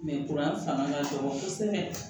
fanga ka dɔgɔ kosɛbɛ